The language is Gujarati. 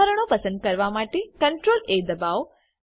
બંધારણો પસંદ કરવા માટે CTRLA દબાવો